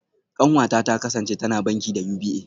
Kanwata ta kasance tana banki da UBA